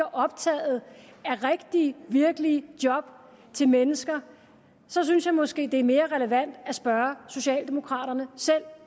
er optaget af rigtige virkelige job til mennesker så synes jeg måske det er mere relevant at spørge socialdemokraterne selv